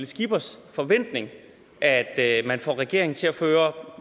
skippers forventning at at man får regeringen til at føre